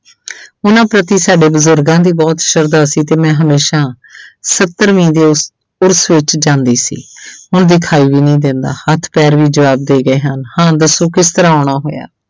ਉਹਨਾਂ ਪ੍ਰਤੀ ਸਾਡੇ ਬਜ਼ੁਰਗਾਂ ਦੀ ਬਹੁਤ ਸਰਧਾ ਸੀ ਤੇ ਮੈਂ ਹਮੇਸ਼ਾ ਸੱਤਰਵੀਂ ਦੇ ਉਰਸ ਵਿੱਚ ਜਾਂਦੀ ਸੀ ਹੁਣ ਵਿਖਾਈ ਵੀ ਨਹੀਂ ਦਿੰਦਾ, ਹੱਥ ਪੈਰ ਵੀ ਜਵਾਬ ਦੇ ਗਏ ਹਨ ਹਾਂ ਦੱਸੋ ਕਿਸ ਤਰ੍ਹਾਂ ਆਉਣਾ ਹੋਇਆ।